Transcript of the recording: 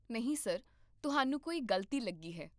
ਨਹੀਂ ਸਰ, ਤੁਹਾਨੂੰ ਕੋਈ ਗ਼ਲਤੀ ਲੱਗੀ ਹੈ